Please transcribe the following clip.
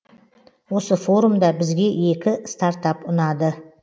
осы форумда бізге екі стартап ұнады